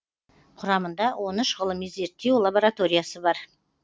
құрамында он үш ғылыми зерттеу лабораториясы бар